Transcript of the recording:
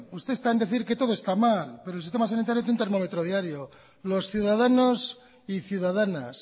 usted está en decir que todo esta mal pero el sistema sanitario tiene un termómetro diario los ciudadanos y ciudadanas